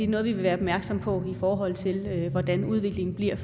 noget vi vil være opmærksomme på i forhold til hvordan udviklingen bliver